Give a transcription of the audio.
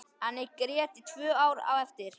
En ég grét í tvö ár á eftir.